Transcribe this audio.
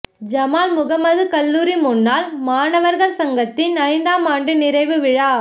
Jamal Muhammad கல்லூரி முன்னாள் மாணவர்கள் சங்கத்தின் ஐந்தாம் ஆண்டு நிறைவு விழா